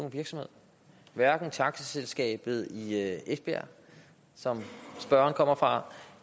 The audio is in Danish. virksomhed hverken taxaselskabet i esbjerg som spørgeren kommer fra